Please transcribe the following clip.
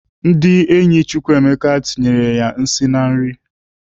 Ndị enyi Chukwuma tinyerela ya nsị na nri.